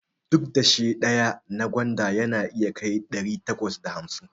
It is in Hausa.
Duk dashe ɗaya na gwanda yana iya kai ɗari takwas da hamsin